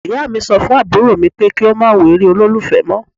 Ìyá mi sọ fún àbúrò mú pé kí ó má wo eré olólùfẹ́ mọ́.